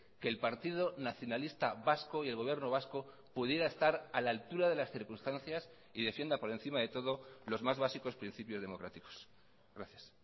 que el partido nacionalista vasco y el gobierno vasco pudiera estar a la altura de las circunstancias y defienda por encima de todo los más básicos principios democráticos gracias